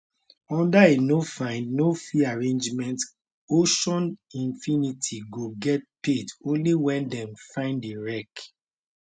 under a no find no fee arrangement ocean infinity go get paid only wen dem find di wreck